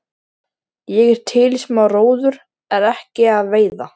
Ég er til í smá róður en ekki að veiða.